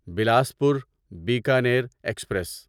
Bilaspur Bikaner express